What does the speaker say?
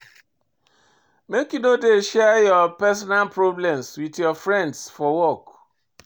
Make you no dey share your personal problem wit your friends for work.